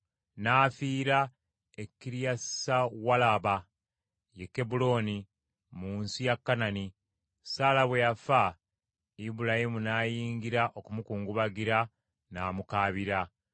N’afiira e Kiriyasuwalaba, ye Kebbulooni, mu nsi ya Kanani. Saala bwe yafa Ibulayimu n’ayingira okumukungubagira n’amukaabira.